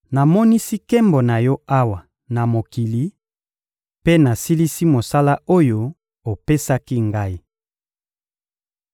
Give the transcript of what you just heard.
Namonisi nkembo na Yo awa na mokili mpe nasilisi mosala oyo opesaki Ngai.